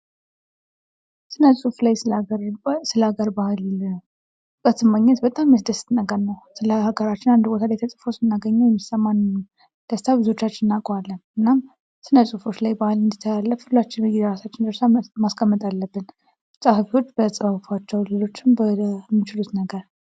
ስነ ፅሁፍ ላይ ስለ ሀገር ማግኘት ደስ የሚል ነገር ነው። ስለ ሀገራችን የሆነ ቦታ ላይ ተፅፎ ስናገኝ ሁላችንም የሚሰማን ደስታ እናውቀዋለን። እናም ስነ ፍሁፎች ላይ ባህል እንዲተላለፍ ሁላችንም ድርሻችን መወጣት አለብን።